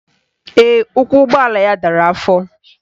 Ee, ụkwụ ụgbọala ya dara afọ